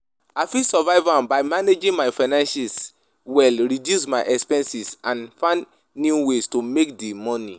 I fit survive am by managing my finances well, reduce my expenses and find new ways to make di money.